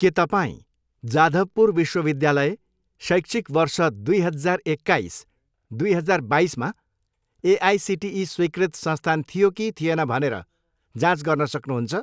के तपाईँँ जाधवपुर विश्वविद्यालय शैक्षिक वर्ष दुई हजार एकाइस, दुई हजार बाइसमा एआइसिटिई स्वीकृत संस्थान थियो कि थिएन भनेर जाँच गर्न सक्नुहुन्छ?